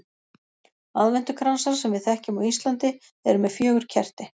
Aðventukransar sem við þekkjum á Íslandi eru með fjögur kerti.